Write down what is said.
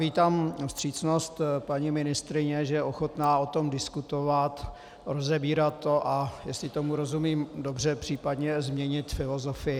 Vítám vstřícnost paní ministryně, že je ochotná o tom diskutovat, rozebírat to, a jestli tomu rozumím dobře, případně změnit filozofii.